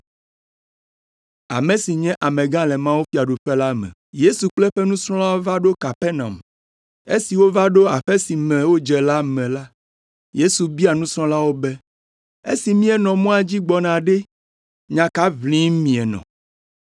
Yesu kple eƒe nusrɔ̃lawo va ɖo Kapernaum. Esi wova ɖo aƒe si me wodze me la, Yesu bia nusrɔ̃lawo be, “Esi míenɔ mɔa dzi gbɔna ɖe, nya ka ʋlim mienɔ?”